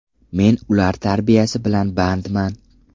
Men ular tarbiyasi bilan bandman.